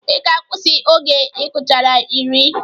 Ị ga-akwusi oge ị gụchara iri!